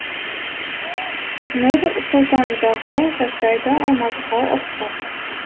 нұр сұлтандағы жағдай да алматыға ұқсас